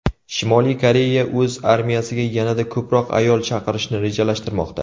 Shimoliy Koreya o‘z armiyasiga yanada ko‘proq ayol chaqirishni rejalashtirmoqda.